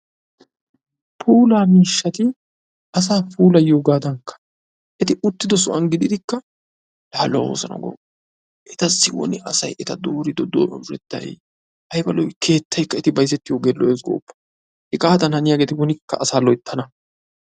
puulaa miishshati asaa puulayiyoogaddanikka asay wolaytta gidiyoogaa wolayttatettaa qonccissiyaga.